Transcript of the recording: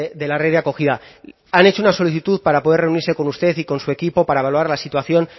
de la red de acogida han hecho una solicitud para poder reunirse con usted y con su equipo para valorar la situación